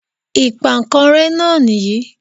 Ìpankanré náà nìyí